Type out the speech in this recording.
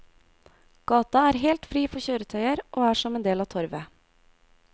Gata er helt fri for kjøretøyer og er som en del av torvet.